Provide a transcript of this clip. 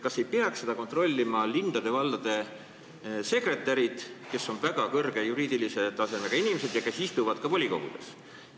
Kas ei peaks seda kontrollima linnade-valdade sekretärid, kes on väga kõrge juriidilise tasemega ametnikud ja istuvad ka volikogudes?